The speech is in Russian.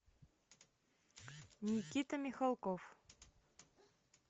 никита михалков